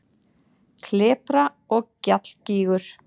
Klepra- og gjallgígur